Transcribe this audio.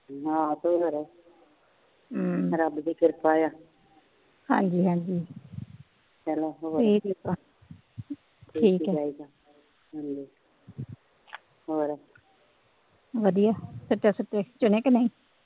ਵਧੀਆ ਸੁਚਾ ਸੁਚੇ ਚੁਣੇ ਕੇ ਨਹੀਂ